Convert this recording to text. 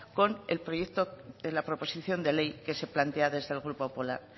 con el proyecto de la proposición de ley que se plantea desde el grupo popular